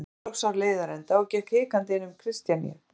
Ég náði loks á leiðarenda og gekk hikandi inn um hlið Kristjaníu.